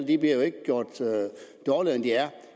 jo ikke gjort dårligere end de er